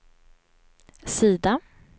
sida